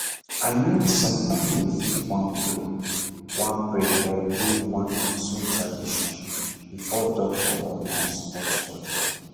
i mean some family fit wan pray wan pray or do one or two tradition before doctor or nurse touch body